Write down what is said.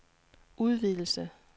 udvidelse